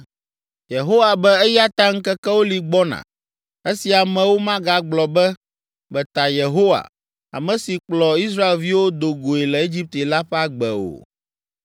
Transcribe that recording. “Yehowa be eya ta ŋkekewo li gbɔna esi amewo magagblɔ be, ‘Meta Yehowa, ame si kplɔ Israelviwo do goe le Egipte la ƒe agbe’ o.